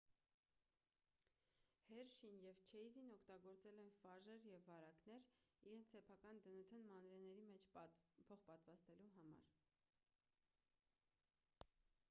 հերշին և չեյզին օգտագործել են ֆաժեր և վարակներ իրենց սեփական դնթ-ն մանրէի մեջ փոխպատվաստելու համար